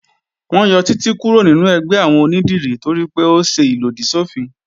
Wọ́n yọ Títí kúrò nínú ẹgbẹ́ àwọn onídìrí toripé ó ṣe ìlòdì sọ́fin